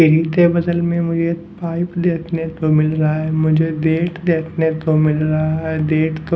के बदल में मुझे पाइप देखने को मिल रहा है मुझे डेट देखने को मिल रहा है डेट क --